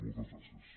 moltes gràcies